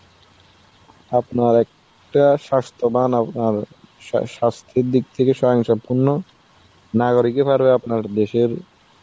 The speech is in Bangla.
আপনার একটা স্বাস্থ্যবান আপনার সা~ স্বাস্থ্যের দিক থেকে স্বয়ং সম্পূর্ণ নাগরিকই পারবে আপনার দেশের